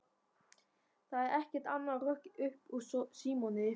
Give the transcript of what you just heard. Það er ekkert annað hrökk upp úr Símoni.